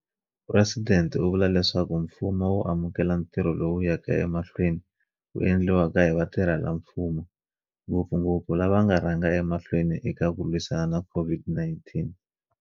Phuresidente u vula leswaku mfumo wu amukela ntirho lowu wu yaka emahlweni wu endliwa hi vatirhelamfumo, ngopfungopfu lava va nga rhanga emahlweni eka ku lwisana na COVID-19.